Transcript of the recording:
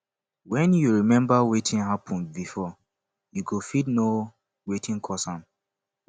wen yu remmba wetin hapun bifor yu go fit no wetin cause am